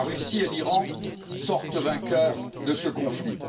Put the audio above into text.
La Russie et l'Iran sortent vainqueurs de ce conflit.